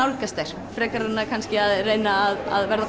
nálgast þær frekar en að kannski reyna að verða